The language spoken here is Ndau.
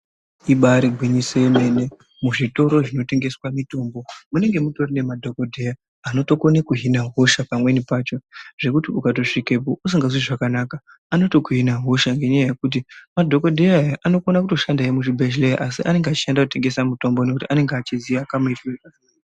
Ibari gwinyiso yemene muzvitoro zvinotengeswa mitombo munenge mutorine madhogodheya anotokone kuhina hosha pamweni pacho. Zvekuti ukatosvikapo usinganzwi zvakanaka anotokuhina hosha, ngenyaya yekuti madhogodheya anotokona kutoshandahe muzvibhedhleya asi anenge achishandahe kutengesa mitombo nekuti anenge achiziya kamuitire kakona.